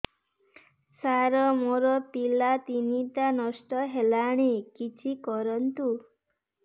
ସାର ମୋର ପିଲା ତିନିଟା ନଷ୍ଟ ହେଲାଣି କିଛି କରନ୍ତୁ